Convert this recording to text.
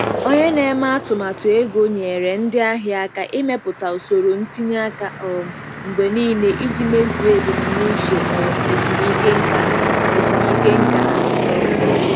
Onye na-eme atụmatụ ego nyeere ndị ahịa aka ịmepụta usoro ntinye aka um mgbe niile iji mezuo ebumnuche um ezumike nka ha. ezumike nka ha. um